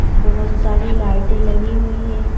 बहुत सारी लाइटें लगी हुई हैं।